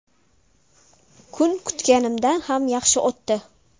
Kun kutganimdan ham yaxshi o‘tdi.